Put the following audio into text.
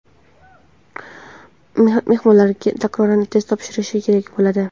mehmonlar takroran test topshirishlari kerak bo‘ladi.